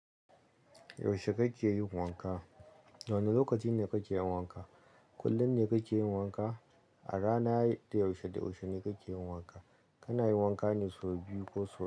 Yaushe kake yin wanka? Wane lokaci ne kake yin wanka? Kullum ne kake yin wanka? A rana da yaushe da yaushe ne kake yin wanka? Kana yin wanka ne sau biyu ko sau uku.